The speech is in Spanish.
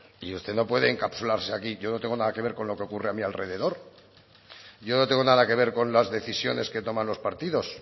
y usted no puede encapsularse aquí yo no tengo nada que ver con lo que ocurre a mi alrededor yo no tengo nada que ver con las decisiones que toman los partidos